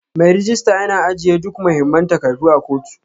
Mai rejista yana ajiye duk mahimman takardu a kotu